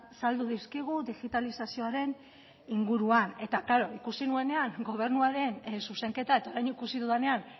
saldu dizkigu digitalizazioaren inguruan eta klaro ikusi nuenean gobernuaren zuzenketa eta orain ikusi dudanean